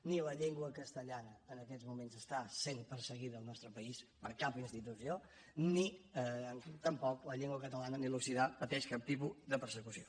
ni la llengua castellana en aquests moments està sent perseguida al nostre país per cap institució ni tampoc la llengua catalana ni l’occità pateixen cap tipus de persecució